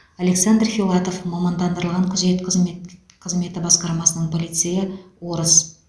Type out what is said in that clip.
александр филатов мамандандырылған күзет қызмет қызметі басқармасының полицейі орыс